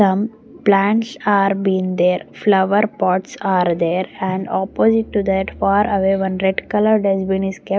some plants are been there flower pots are there and opposite to that far away one red colour dustbin is kept.